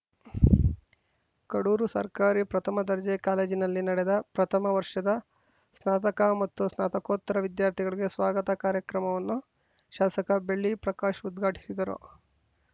ಕಡೂರು ಸರ್ಕಾರಿ ಪ್ರಥಮ ದರ್ಜೆ ಕಾಲೇಜಿನಲ್ಲಿ ನಡೆದ ಪ್ರಥಮ ವರ್ಷದ ಸ್ನಾತಕ ಮತ್ತು ಸ್ನಾತಕೋತ್ತರ ವಿದ್ಯಾರ್ಥಿಗಳಿಗೆ ಸ್ವಾಗತ ಕಾರ್ಯಕ್ರಮವನ್ನು ಶಾಸಕ ಬೆಳ್ಳಿ ಪ್ರಕಾಶ್‌ ಉದ್ಘಾಟಿಸಿದರು